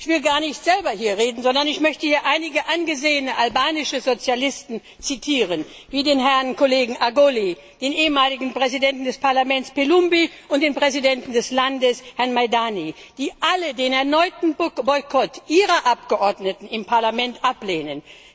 Ich will gar nicht selber hier reden, sondern ich möchte hier einige angesehene albanische Sozialisten zitieren wie den Herrn Kollegen Agoli, den ehemaligen Präsidenten des Parlaments Belumbi und den Präsidenten des Landes, Herrn Maldani, die alle den erneuten Boykott ihrer Abgeordneten im Parlament ablehnen.